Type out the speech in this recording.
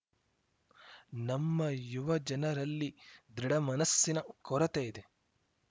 ನಮ್ಮ ಯುವಜನರಲ್ಲಿ ದೃಢಮನಸ್ಸಿನ ಕೊರತೆ ಇದೆ